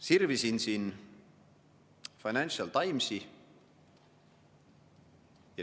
Sirvisin siin Financial Timesi.